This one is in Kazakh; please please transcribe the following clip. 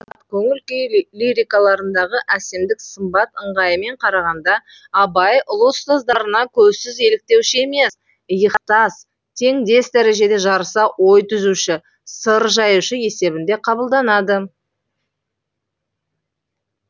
ал көңіл күй лирикаларындағы әсемдік сымбат ыңғайымен қарағанда абай ұлы ұстаздарына көзсіз еліктеуші емес иықтас теңдес дәрежеде жарыса ой түзуші сыр жаюшы есебінде кабылданады